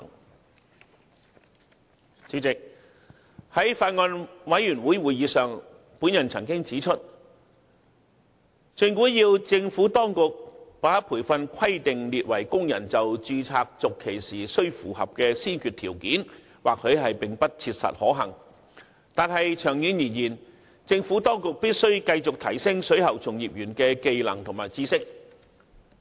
代理主席，在法案委員會會議上，我曾指出，政府當局把培訓規定列為工人就註冊續期時須符合的先決條件或許並不切實可行，但長遠而言，政府當局必須繼續提升水喉從業員的技能和知識。